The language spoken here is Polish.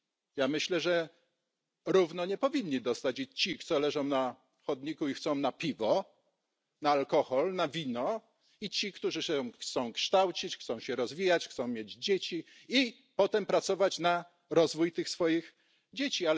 Ja myślę, że równo nie powinni dostać i ci, co leżą na chodniku i chcą na piwo, na alkohol, na wino, i ci, którzy chcą się kształcić, chcą się rozwijać, chcą mieć dzieci i potem pracować na rozwój tych swoich dzieci.